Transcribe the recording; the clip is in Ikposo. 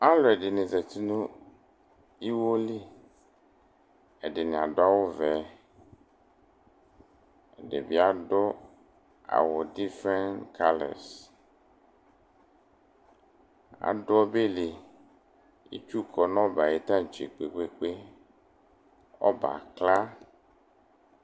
Alʋɛdɩnɩ zati nʋ iwo li Ɛdɩnɩ adʋ awʋvɛ, ɛdɩ bɩ adʋ awʋ difrɛnt kalɛs Adʋ ɔbɛ li Itsu kɔ nʋ ɔbɛ yɛ ayʋ taŋtse kpe-kpe-kpe Ɔbɛ yɛ akla